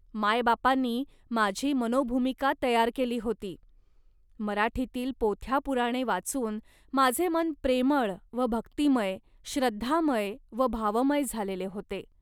मायबापांनी माझी मनोभूमिका तयार केली होती. मराठीतील पोथ्या पुराणे वाचून माझे मन प्रेमळ व भक्तिमय, श्रद्धामय व भावमय झालेले होते